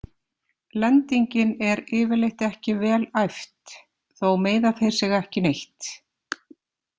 Lendingin er yfirleitt ekki vel æft, þó meiða þeir sig ekki neitt.